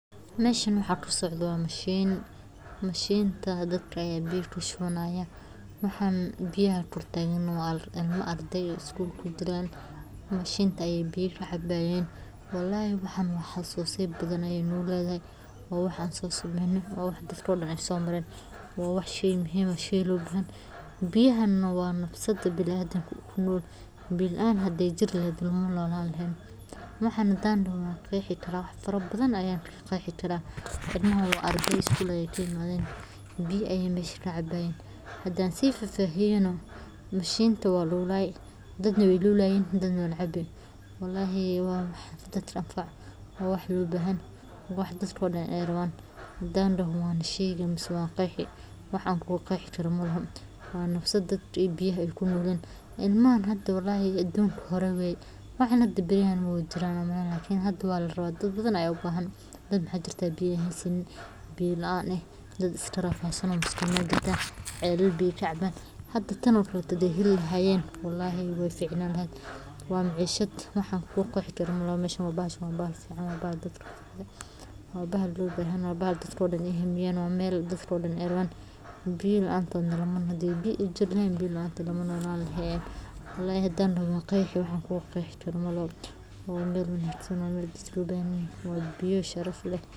Qodista ceel-biyood waa hannaan farsamo oo muhiim u ah helitaanka biyo nadiif ah oo la cabo, kaas oo si gaar ah ugu habboon deegaanada ay ka jiraan abaaraha joogtada ah, iyadoo marka hore la sameeyo baaritaano dhulka hoostiisa ah si loo xaqiijiyo jiritaanka biyaha dhulka hoostiisa ku jira, kadibna lagu rakibo mashiinnada qodista ee casriga ah kuwaas oo awood u leh inay si qoto dheer u gaaraan lakabyada biyaha dhulka ku kaydsan, iyadoo marka la gaaro biyo la hubo tayadooda, la mariyo habab sifeyn ah si loogu hubiyo nadiifnimadooda iyo u-adeegiddooda dadka deegaanka, waxaana inta badan mashruucyada noocan oo kale ah.